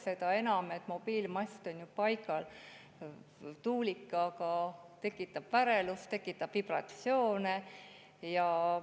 Seda enam, et mobiilimast on paigal, tuulik aga tekitab värelust, tekitab vibratsioone.